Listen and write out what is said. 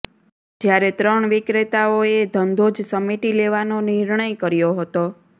જ્યારે ત્રણ વિક્રેતાઓએ ધંધો જ સમેટી લેવાનો નિર્ણય કર્યો હતો